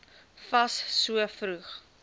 fas so vroeg